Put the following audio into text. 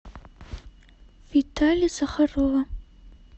витали захарова